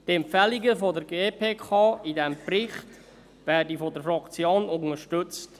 Die Empfehlungen der GPK in diesem Bericht werden von der Fraktion unterstützt.